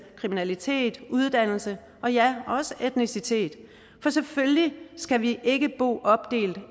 kriminalitet uddannelse og ja også etnicitet for selvfølgelig skal vi ikke bo opdelt